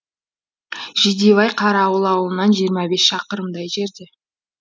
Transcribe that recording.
жидебай қарауыл ауылынан жиырма бес шақырымдай жерде